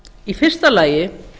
í fyrsta lagi